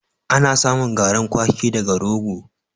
Ana samun garin kwaki daga rogo.